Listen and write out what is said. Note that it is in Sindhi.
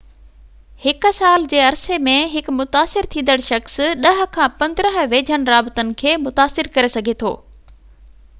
هڪ سال جي عرصي ۾ هڪ متاثر ٿيندڙ شخص 10 کان 15 ويجهن رابطن کي متاثر ڪري سگهي ٿو